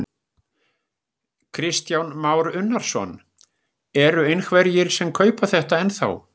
Kristján Már Unnarsson: Eru einhverjir sem kaupa þetta ennþá?